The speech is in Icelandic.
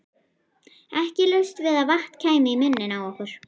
Ekki laust við að vatn kæmi í munninn á okkur.